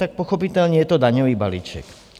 Tak pochopitelně je to daňový balíček.